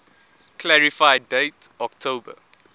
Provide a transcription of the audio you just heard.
clarify date october